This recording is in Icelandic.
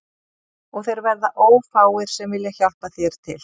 Og þeir verða ófáir sem vilja hjálpa þér til